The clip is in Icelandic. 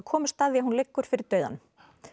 komumst að því að hún liggur fyrir dauðanum